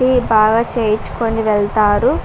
Tea బాగా చేయించుకొని వెళ్తారు.